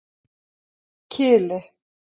Kili